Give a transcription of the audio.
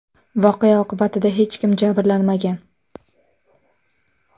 Voqea oqibatida hech kim jabrlanmagan.